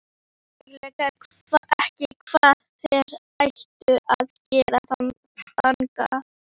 Ég veit eiginlega ekki hvað þér ættuð að gera þangað.